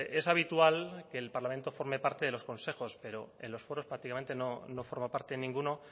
es habitual que el parlamento forme parte de los consejos pero en los foros prácticamente no forma parte ninguno